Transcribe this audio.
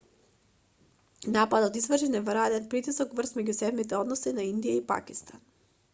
нападот изврши неверојатен притисок врз меѓусебните односи на индија и пакистан